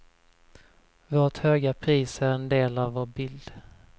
Vårt höga pris är en del av vår bild.